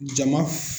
Jama